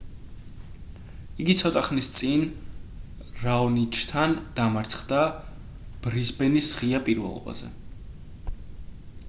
იგი ცოტა ხნის წინ რაონიჩთან დამარცხდა ბრიზბენის ღია პირველობაზე